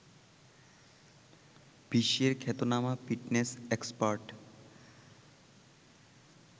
বিশ্বের খ্যাতনামা fitness expert